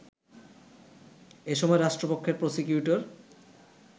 এসময় রাষ্ট্রপক্ষের প্রসিকিউটর